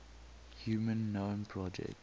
human genome project